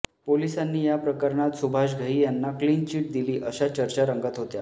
पोलिसांनी याप्रकरणात सुभाष घई यांना क्लीन चीट दिली अशा चर्चा रंगत होत्या